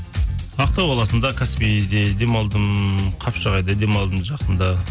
ақтау қаласында каспийде демалдым қапшағайда демалдым жақында